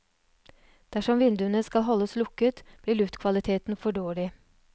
Dersom vinduene skal holdes lukket, blir luftkvaliteten for dårlig.